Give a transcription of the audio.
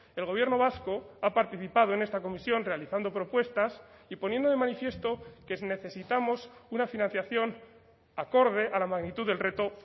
el gobierno vasco ha participado en esta comisión realizando propuestas y poniendo de manifiesto que necesitamos una financiación acorde a la magnitud del reto